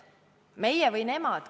Meie või nemad.